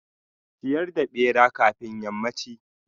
ciyar da bera kafin yammanchi.